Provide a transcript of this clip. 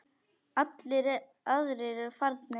Allir aðrir eru farnir.